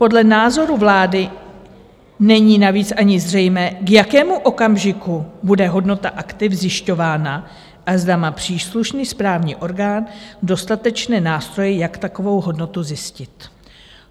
Podle názoru vlády není navíc ani zřejmé, k jakému okamžiku bude hodnota aktiv zjišťována a zda má příslušný správní orgán dostatečné nástroje, jak takovou hodnotu zjistit."